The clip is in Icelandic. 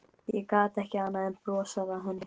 Ég gat ekki annað en brosað að henni.